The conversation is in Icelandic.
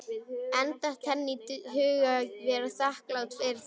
En datt henni í hug að vera þakklát fyrir það?